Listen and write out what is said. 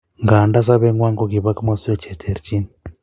Nganda sobengwai kokiba komoswek che terchin